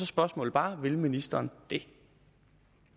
spørgsmålet bare vil ministeren